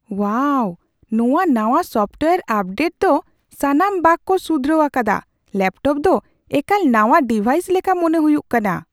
ᱳᱣᱟᱣ, ᱱᱚᱶᱟ ᱱᱟᱶᱟ software update ᱫᱚ ᱥᱟᱱᱟᱢ ᱵᱟᱜ ᱠᱚ ᱥᱩᱫᱷᱨᱟᱹᱣ ᱟᱠᱟᱫᱟ ᱾ ᱞᱮᱹᱯᱴᱚᱯ ᱫᱚ ᱮᱠᱟᱞ ᱱᱟᱶᱟ ᱰᱤᱵᱷᱟᱭᱤᱥ ᱞᱮᱠᱟ ᱢᱚᱱᱮ ᱦᱩᱭᱩᱜ ᱠᱟᱱᱟ ᱾